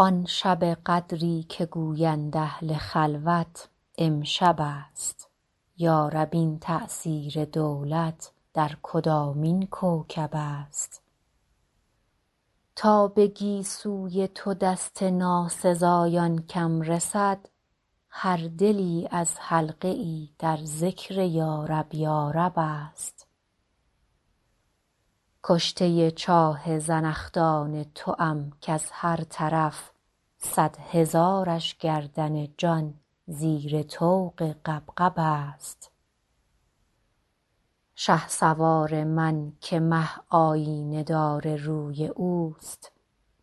آن شب قدری که گویند اهل خلوت امشب است یا رب این تأثیر دولت در کدامین کوکب است تا به گیسوی تو دست ناسزایان کم رسد هر دلی از حلقه ای در ذکر یارب یارب است کشته چاه زنخدان توام کز هر طرف صد هزارش گردن جان زیر طوق غبغب است شهسوار من که مه آیینه دار روی اوست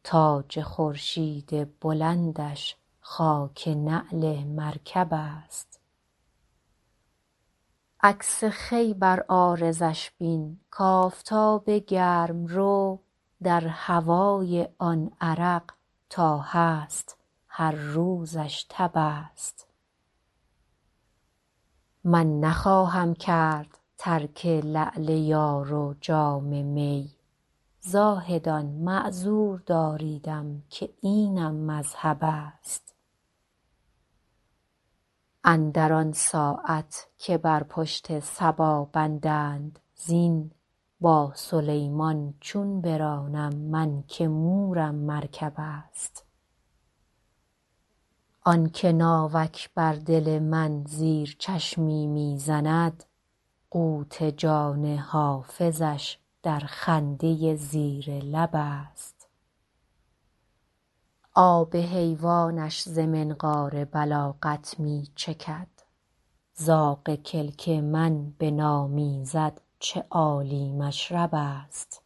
تاج خورشید بلندش خاک نعل مرکب است عکس خوی بر عارضش بین کآفتاب گرم رو در هوای آن عرق تا هست هر روزش تب است من نخواهم کرد ترک لعل یار و جام می زاهدان معذور داریدم که اینم مذهب است اندر آن ساعت که بر پشت صبا بندند زین با سلیمان چون برانم من که مورم مرکب است آن که ناوک بر دل من زیر چشمی می زند قوت جان حافظش در خنده زیر لب است آب حیوانش ز منقار بلاغت می چکد زاغ کلک من بنامیزد چه عالی مشرب است